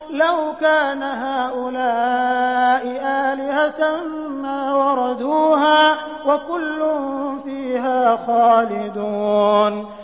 لَوْ كَانَ هَٰؤُلَاءِ آلِهَةً مَّا وَرَدُوهَا ۖ وَكُلٌّ فِيهَا خَالِدُونَ